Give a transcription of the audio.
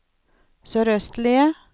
sørøstlige